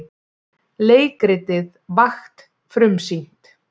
Leikritið Vakt frumsýnt